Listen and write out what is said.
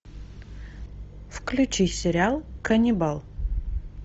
включи сериал ганнибал